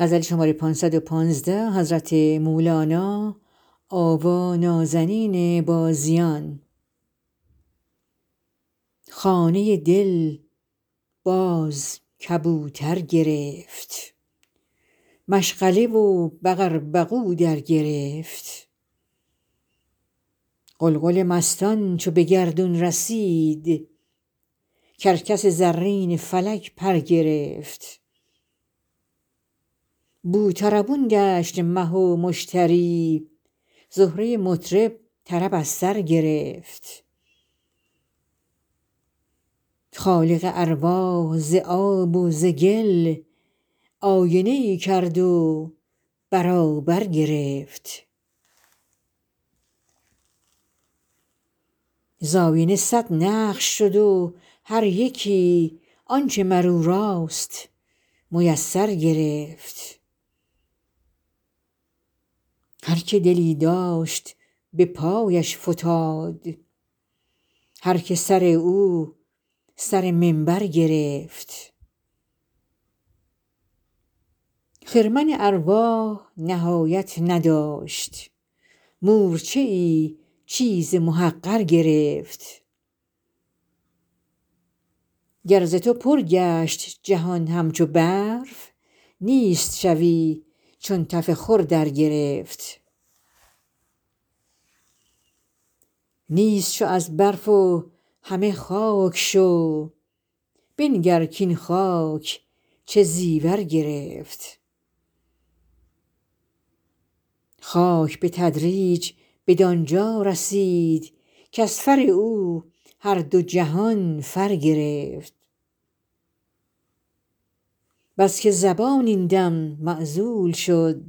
خانه دل باز کبوتر گرفت مشغله و بقر بقو درگرفت غلغل مستان چو به گردون رسید کرکس زرین فلک پر گرفت بوطربون گشت مه و مشتری زهره مطرب طرب از سر گرفت خالق ارواح ز آب و ز گل آینه ای کرد و برابر گرفت ز آینه صد نقش شد و هر یکی آنچ مر او راست میسر گرفت هر که دلی داشت به پایش فتاد هر که سر او سر منبر گرفت خرمن ارواح نهایت نداشت مورچه ای چیز محقر گرفت گر ز تو پر گشت جهان همچو برف نیست شوی چون تف خور درگرفت نیست شو ای برف و همه خاک شو بنگر کاین خاک چه زیور گرفت خاک به تدریج بدان جا رسید کز فر او هر دو جهان فر گرفت بس که زبان این دم معزول شد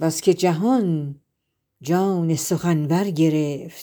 بس که جهان جان سخنور گرفت